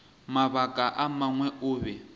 mabaka a mangwe o be